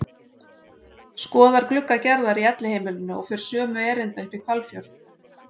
Skoðar glugga Gerðar í Elliheimilinu og fer sömu erinda upp í Hvalfjörð.